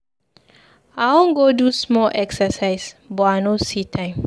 I wan go do small exercise but I no see time.